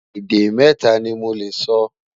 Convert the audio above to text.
Èdè mẹta ní Mo lẹ sọ